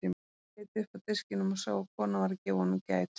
Hann leit upp af diskinum og sá að kona var að gefa honum gætur.